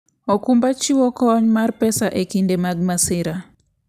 okumba chiwo kony mar pesa e kinde mag masira.